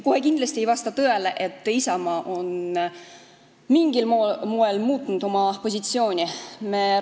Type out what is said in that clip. Kohe kindlasti ei vasta tõele, nagu Isamaa oleks mingil moel oma positsiooni muutnud.